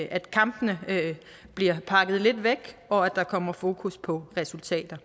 at kampene bliver pakket lidt væk og at der kommer fokus på resultater